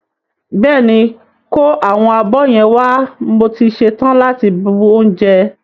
Bẹ́ẹ̀ ni, kó àwọn abọ́ yẹn wá mo ti ṣe tán láti bu oúnjẹ.